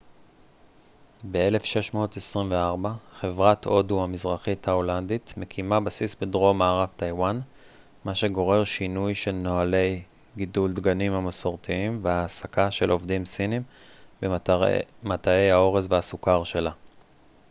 ב-1624 חברת הודו המזרחית ההולנדית מקימה בסיס בדרום מערב טייוואן מה שגורר שינוי של נוהלי גידול דגנים המסורתיים והעסקה של עובדים סינים במטעי האורז והסוכר שלה